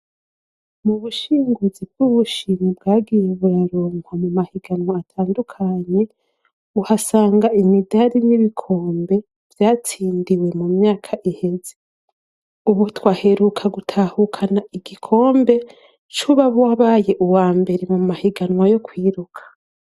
Mu bushinguzi bw'ubushimi bwagiye buraronkwa mu mahiganwa atandukanye uhasanga imidali n'ibikombe vyatsindiwe mu myaka ihezi, ubutwaheruka gutahukana igikombe c'uba wabaye uwa mbere mu mahiganwa yo kwiruka.